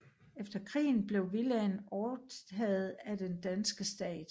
Efter krigen blev villaen overtaget af den danske stat